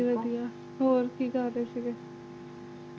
ਹਾਜ਼ੀ ਵਧੀਆ ਹੋਰ ਕੀ ਕਰਦੇ ਸੀ ਗੇ